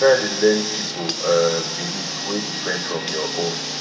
try dey learn pipol um belief wey different from yur own